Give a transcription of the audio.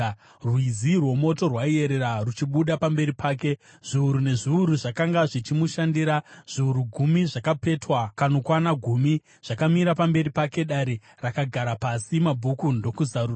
Rwizi rwomoto rwaiyerera, ruchibuda pamberi pake. Zviuru nezviuru zvakanga zvichimushandira; zviuru gumi zvakapetwa kanokwana gumi zvakamira pamberi pake. Dare rakagara pasi, mabhuku ndokuzarurwa.